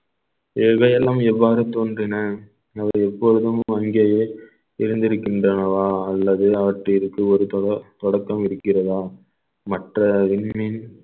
எவையெல்லாம் எவ்வாறு தோன்றின அவர் எப்பொழுதும் அங்கேயே இருந்திருக்கின்றனவா அல்லது அவற்றிற்கு ஒரு தொ~ தொடக்கம் இருக்கிறதா மற்ற விண்மீன்